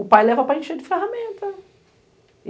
O pai leva para encher de ferramenta.